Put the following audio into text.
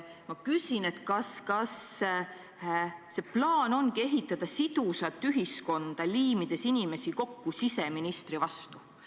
Ma küsin, kas plaan ongi ehitada sidusat ühiskonda, liimides inimesi kokku siseministri vastu.